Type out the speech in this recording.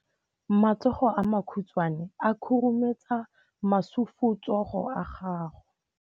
Matsogo a makhutshwane a khurumetsa masufutsogo a gago.